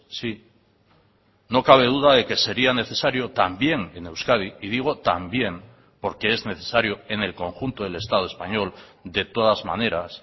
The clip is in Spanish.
sí no cabe duda de que sería necesario también en euskadi y digo también porque es necesario en el conjunto del estado español de todas maneras